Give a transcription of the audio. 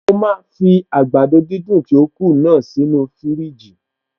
Mo máa fi àgbàdo dídùn tí ó kù náà sí inú fiírìjì